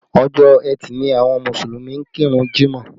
Ọjọ́ ẹtì ni àwọn Mùsùlùmí ń kírun jímọ̀